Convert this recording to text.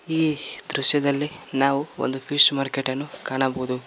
ಈ ದೃಶ್ಯದಲ್ಲಿ ನಾವು ಒಂದು ಫಿಶ್ ಮಾರ್ಕೆಟನ್ನು ಕಾಣಬಹುದು.